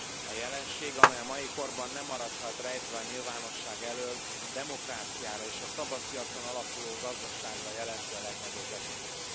A jelenség amely a mai korban nem maradhat rejtve a nyilvánosság elől a demokráciára és a szabadpiacon alapuló gazdaságra jelenti a legnagyobb veszélyt.